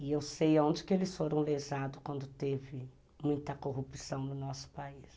E eu sei onde que eles foram lesados quando teve muita corrupção no nosso país.